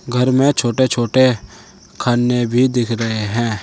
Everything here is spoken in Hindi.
घर में छोटे छोटे खानें भी दिख रहे हैं।